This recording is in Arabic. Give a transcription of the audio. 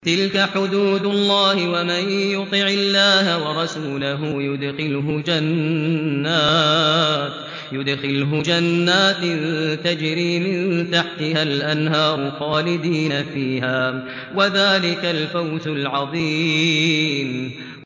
تِلْكَ حُدُودُ اللَّهِ ۚ وَمَن يُطِعِ اللَّهَ وَرَسُولَهُ يُدْخِلْهُ جَنَّاتٍ تَجْرِي مِن تَحْتِهَا الْأَنْهَارُ خَالِدِينَ فِيهَا ۚ وَذَٰلِكَ الْفَوْزُ الْعَظِيمُ